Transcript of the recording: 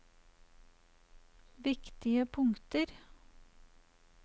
viktige punkter